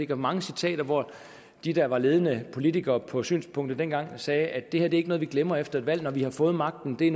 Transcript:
mange citater hvor de der var ledende politikere for synspunktet dengang sagde at det her ikke var ville glemme efter at valg når de havde fået magten det